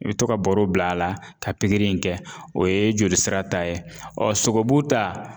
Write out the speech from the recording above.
I bi to ka baro bil'a la ka in kɛ o ye jolisira ta ye sogobu ta